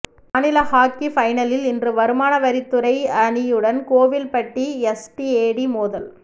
மாநில ஹாக்கி பைனலில் இன்று வருமானவரித்துறை அணியுடன் கோவில்பட்டி எஸ்டிஏடி மோதல்